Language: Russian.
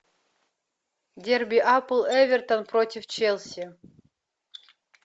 дерби апл эвертон против челси